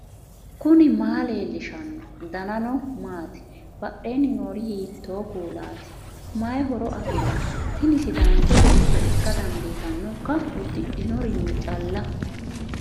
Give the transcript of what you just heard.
knuni maa leellishanno ? danano maati ? badheenni noori hiitto kuulaati ? mayi horo afirino ? tini sidaancho beetto ikka dandiitannoikka uddidhinorinni calla